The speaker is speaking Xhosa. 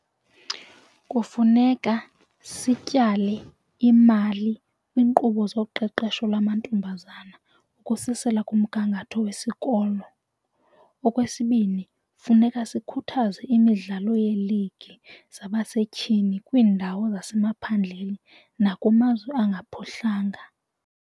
Kufuneka sityale imali kwiinkqubo zoqeqesho lwamantombazana ukususela kumgangatho wesikolo. Okwesibini, funeka sikhuthaze imidlalo yeeligi zabasetyhini kwiindawo zasemaphandleni nakumazwe angaphuhlanga.